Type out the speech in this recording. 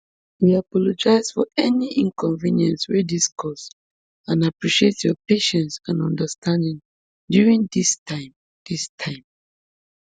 we apologise for any inconvenience wey dis cause and appreciate your patience and understanding during dis time dis time